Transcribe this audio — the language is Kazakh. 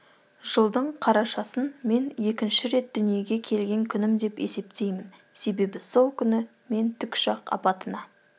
жылдың қарашасын мен екінші рет дүниеге келген күнім деп есептеймін себебі сол күні мен тікұшақ апатына